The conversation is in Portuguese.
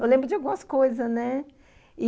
Eu lembro de algumas coisas, né? e...